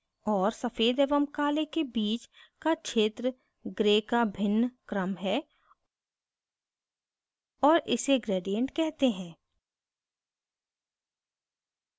और सफ़ेद एवं काले के बीच का क्षेत्र grays का भिन्न क्रम है और इसे gradient कहते हैं